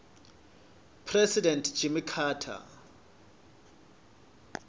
president jimmy carter